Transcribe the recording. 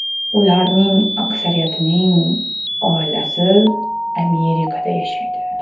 Ularning aksariyatining oilasi Amerikada yashaydi.